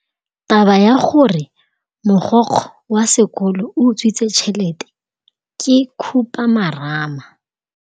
Taba ya gore mogokgo wa sekolo o utswitse tšhelete ke khupamarama.